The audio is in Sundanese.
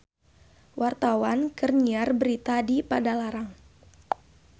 Wartawan keur nyiar berita di Padalarang